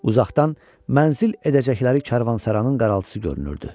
Uzaqdan mənzil edəcəkləri karvansarayın qaraltısı görünürdü.